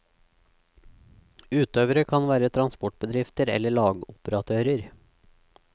Utøvere kan være transportbedrifter eller lageroperatører.